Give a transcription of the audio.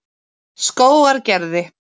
Skógargerði